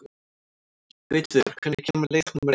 Gautviður, hvenær kemur leið númer eitt?